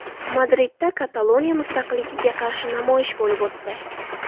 Madridda Kataloniya mustaqilligiga qarshi namoyish bo‘lib o‘tdi.